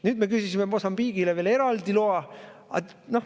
Nüüd me küsisime Mosambiigile veel eraldi loa.